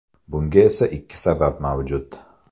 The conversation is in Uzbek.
Bunga esa ikki sabab mavjud.